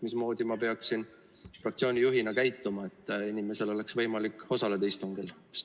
Mismoodi ma peaksin fraktsiooni juhina käituma, et inimesel oleks võimalik osaleda istungil?